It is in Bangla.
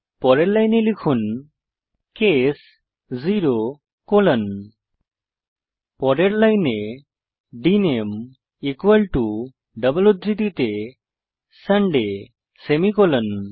পরের লাইনে লিখুন কেস 0 কোলন পরের লাইনে ডিএনএমই ইকুয়াল টো ডাবল উদ্ধৃতিতে সান্ডে সেমিকোলন